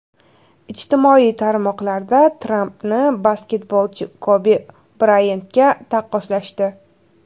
Ijtimoiy tarmoqlarda Trampni basketbolchi Kobi Brayantga taqqoslashdi.